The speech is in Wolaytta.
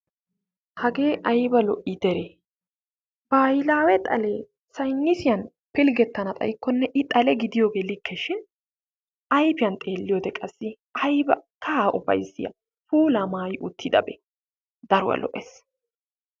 Hagee ayba lo"ii deree baahilaawe xalee saynisiyan pilggettana xayikkonne i xale gidiyooge likke shin ayfiyan xeelliyode qassi ayba kahaa ufayssiya puulaa maayi uttidabee. Daruwa lo"es.